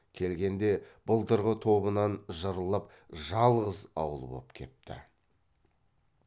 келгенде былтырғы тобынан жырылып жалғыз ауыл боп кепті